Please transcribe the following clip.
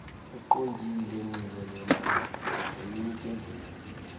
eqondile nxibelelana nomnikezeli